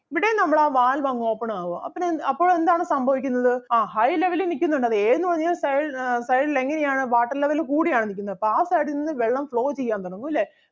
ഇവിടേയും നമ്മൾ ആ valve അങ്ങ് open ആകുവാ അപ്പഴെന്ത് അപ്പൊ എന്താണ് സംഭവിക്കുന്നത് ആ high level ൽ നിക്കുന്നുണ്ട് അത് A എന്നു പറഞ്ഞൊരു side ആഹ് side ൽ എങ്ങനെ ആണ് water level കൂടി ആണ് നിക്കുന്നത് അപ്പൊ ആ side ൽ നിന്ന് വെള്ളം flow ചെയ്യാൻ തുടങ്ങും ല്ലേ?